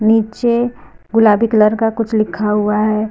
पीछे गुलाबी कलर का कुछ लिखा हुआ है।